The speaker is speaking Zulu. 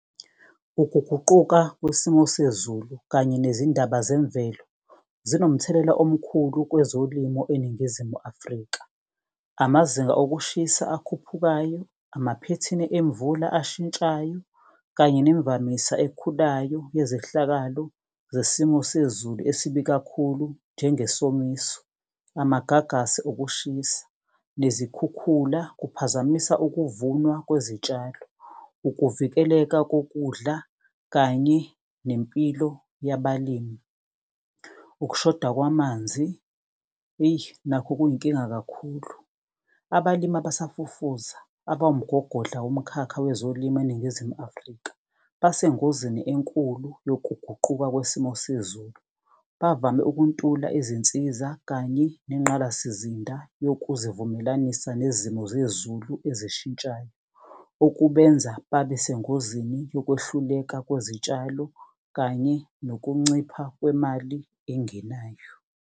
Ukuguquka kwesimo sezulu kanye nezindaba zemvelo, zinomthelela omkhulu kwezolimo eNingizimu Afrika. Amazinga okushisa, akhuphukayo, amaphethini emvula eshintshayo kanye nemvamisa ekhulayo yezehlakalo zesimo sezulu esibi kakhulu. Njengesomiso, amagagasi okushisa, nezikhukhula, kuphazamisa ukuvunwa kwezitshalo, ukuvikeleka kokudla kanye nempilo yabalimi. Ukushoda kwamanzi, eyi nakho kuyinkinga kakhulu. Abalimi abasafufuza abawumgogodla womkhakha wezolimo eNingizimu Afrika. Basengozini enkulu nokuguquka kwesimo sezulu. Bavame ukuntula izinsiza kanye nengqalasizinda yokuzivumelanisa nezimo zezulu ezishintshayo. Okubenza babesengozini yokwehluleka kwezitshalo kanye nokuncipha kwemali engenayo.